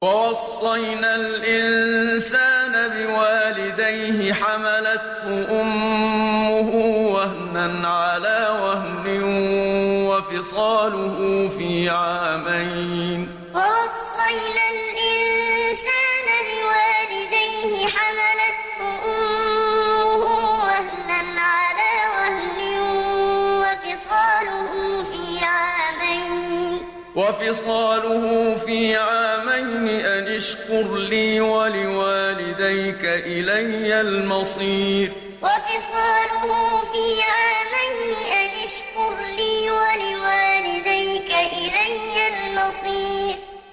وَوَصَّيْنَا الْإِنسَانَ بِوَالِدَيْهِ حَمَلَتْهُ أُمُّهُ وَهْنًا عَلَىٰ وَهْنٍ وَفِصَالُهُ فِي عَامَيْنِ أَنِ اشْكُرْ لِي وَلِوَالِدَيْكَ إِلَيَّ الْمَصِيرُ وَوَصَّيْنَا الْإِنسَانَ بِوَالِدَيْهِ حَمَلَتْهُ أُمُّهُ وَهْنًا عَلَىٰ وَهْنٍ وَفِصَالُهُ فِي عَامَيْنِ أَنِ اشْكُرْ لِي وَلِوَالِدَيْكَ إِلَيَّ الْمَصِيرُ